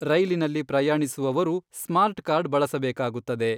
ರೈಲಿನಲ್ಲಿ ಪ್ರಯಾಣಿಸುವವರು smart card ಬಳಸಬೇಕಾಗುತ್ತದೆ.